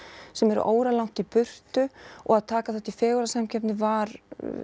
sem eru óralangt í burtu og að taka þátt í fegurðarsamkeppni var